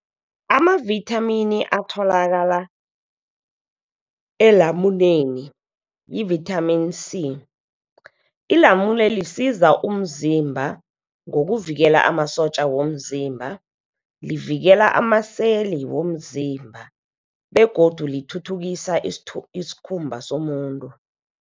Amavithamini atholakala elamuneni yivithamini C. Ilamule lisiza umzimba ngokuvikela amasotja womzimba. Livikela amaseli womzimba begodu lithuthukisa iskhumba somuntu.